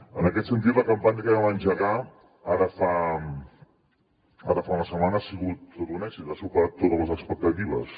en aquest sentit la campanya que vam engegar ara fa una setmana ha sigut tot un èxit ha superat totes les expectatives